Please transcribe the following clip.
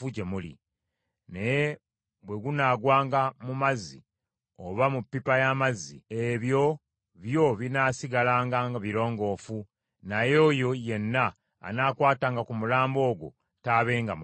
Naye bwe gunaagwanga mu luzzi oba mu ppipa y’amazzi, ebyo byo binaasigalanga birongoofu; naye oyo yenna anaakwatanga ku mulambo ogwo taabenga mulongoofu.